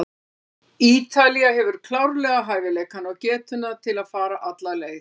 Ítalía hefur klárlega hæfileikana og getuna til að fara alla leið.